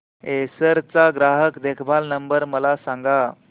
Acer चा ग्राहक देखभाल नंबर मला सांगा